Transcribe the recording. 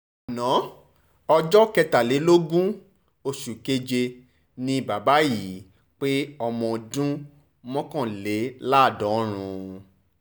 ana ọjọ́ kẹtàlélógún oṣù keje ni bàbá yìí pé ọmọ ọdún mọ́kànléláàdọ́rùn-ún